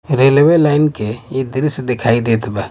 railway line के इ दृश्य देखाई देत बा--